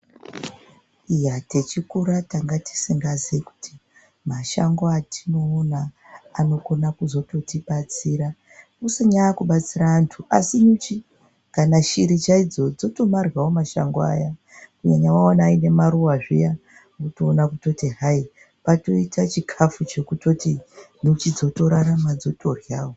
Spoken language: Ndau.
Tichikura Tanga tisingaziyi kuti mashango atinoona anokona kuzotibatsira kusinya kubatsira vantu asi Kana shiri chaidzo dzotoryawo mashango aya odai nemaruva zviya wotoona kuti patoita chikafu chekutoti nyuchi dzotorarama dzotoryawo.